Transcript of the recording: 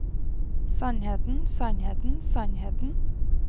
sannheten sannheten sannheten